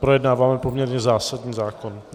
Projednáváme poměrně zásadní zákon.